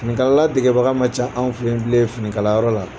Finikalala degebaga ma can bilen an ka finikalayɔrɔ la